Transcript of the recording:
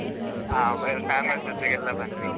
ಹ ಆಮೇಲ್, family ಜೊತೆಗೆಲ್ಲ ಬನ್ನಿ.